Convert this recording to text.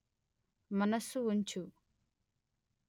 మనస్సు ఉంచు